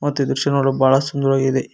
ಮತ್ತೆ ಈ ದೃಶ್ಯ ನೋಡಲು ಬಹಳ ಸುಂದರವಾಗಿದೆ.